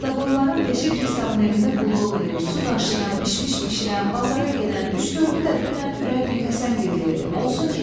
Qaradavoyların beşi pristavın evində qulluq eləyir, su daşıyan, bişmiş bişirən, bazara gedən üç-dördü də dünən Ürədniki Həsəngildə idi,